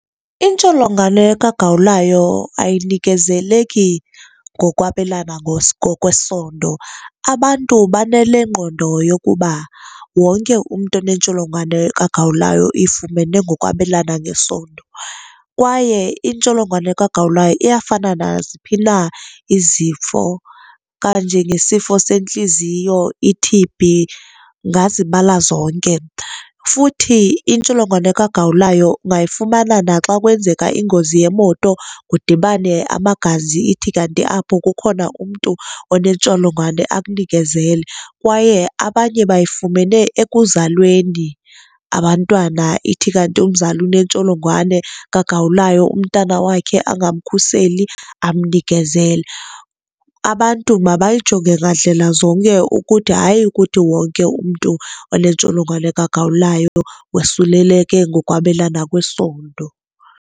Intsholongwane kagawulayo ayinikezeleki ngokwabelana ngokwesondo. Abantu banalengqondo yokuba wonke umntu onentsholongwane kagawulayo uyifumene ngokwabelana ngesondo. Kwaye intsholongwane kagawulayo iyafana naziphi na izifo kanje ngesifo sentliziyo, i-T_B, ungazibala zonke. Futhi intsholongwane kagawulayo ungayifumana naxa kwenzeka ingozi yemoto kudibane abamagazi ithi kanti apho kukhona umntu onentsholongwane akunikezele kwaye abanye bayifumene ekuzalweni abantwana ithi kanti umzali unentsholongwane kagawulayo umntana wakhe angamkhuseli amnikezele abantu mabayijonge ngandlela zonke ukuthi hayi ukuthi wonke umntu onentsholongwane kagawulayo wosuleleke ngokwabelana kwesondo.